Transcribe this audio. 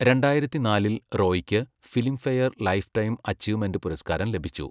രണ്ടായിരത്തിനാലിൽ റോയിക്ക് Filmfare lifetime achievement പുരസ്കാരം ലഭിച്ചു.